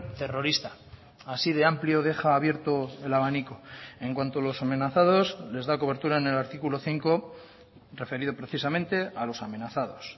terrorista así de amplio deja abierto el abanico en cuanto a los amenazados les da cobertura en el artículo cinco referido precisamente a los amenazados